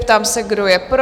Ptám se, kdo je pro?